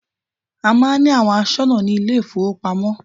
A máà ń ní àwọn aṣọ́nà ní ilé ìfọwọ́pamo.